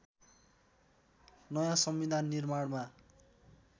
नयाँ संविधान निर्माणमा